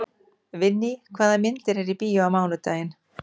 Vinný, hvaða myndir eru í bíó á mánudaginn?